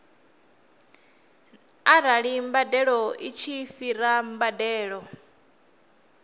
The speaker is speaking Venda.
arali mbadeloi tshi fhira mbadelo